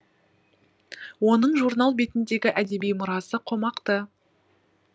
оның журнал бетіндегі әдеби мұрасы қомақты